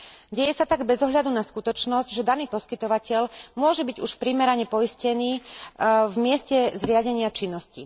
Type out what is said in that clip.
Deje sa tak bez ohľadu na skutočnosť, že daný poskytovateľ môže byť už primerane poistený v mieste zriadenia činnosti.